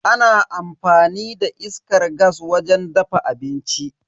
Ana amfani da iskar gas wajen dafa abinci.